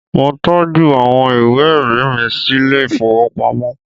Mo tọ́jú àwọn ìwé ẹ̀rí mi sílé ìfowópamọ́